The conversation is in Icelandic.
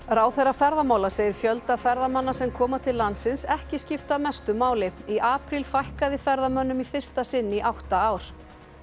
ráðherra ferðamála segir fjölda ferðamanna sem koma til landsins ekki skipta mestu máli í apríl fækkaði ferðamönnum í fyrsta sinn í átta ár